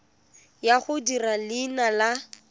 ya go dirisa leina la